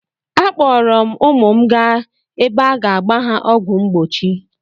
Akpọọrọ m ụmụ m gaa ebe a ga-agba ha ọgwụ mgbochi.